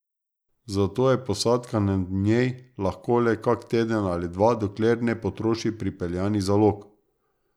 Zato je posadka na njej lahko le kak teden ali dva, dokler ne potroši pripeljanih zalog.